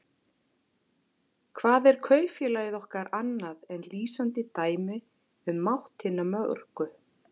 Hvað er kaupfélagið okkar annað en lýsandi dæmi um mátt hinna mörgu?